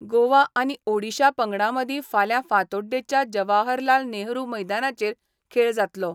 गोवा आनी ओडीशा पंगडामदी फाल्या फातोडडेच्या जवाहरलाल नेहरू मैदानाचेर खेळ जातलो.